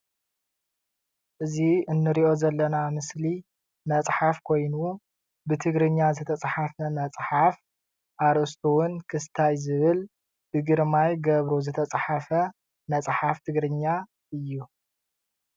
እዚ ንሪኦ ዘለና ምስሊ መፅሓፍ ኮይኑ ብትግርኛ ዝተፅሓፈ መፅሓፍ ኣርእስቱ እዉን ክስታይ ዝብል ብግርማይ ገብሩ ዝተፅሓፈ መፅሓፍ ትግርኛ እዩ ።